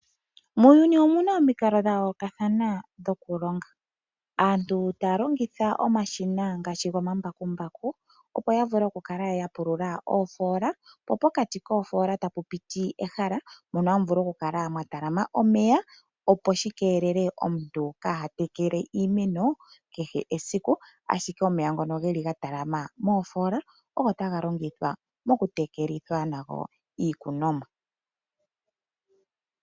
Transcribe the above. Muuyuni omuna omikalo dha yoolokathana dhokulonga. Aantu taya longitha omashina ngaashi omambakumbaku, opo ya vule okupulula oofola. Pokati koofola tapu piti olehala mono hamu vulu okukala mwa talama omeya, opo shi keelele omuntu kaatekele iimeno kehe esiku. Ashike omeya ngono geli ga talama moofola ogo taga longithwa mokutekelitha nago iikunomwa.